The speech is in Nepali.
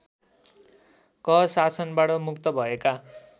क शासनबाट मुक्त भएका